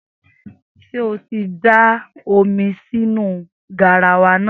Sé o ti da omi sínu garawa náà.